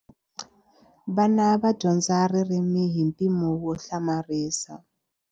Vana va dyondza ririmi hi mpimo wo hlamarisa.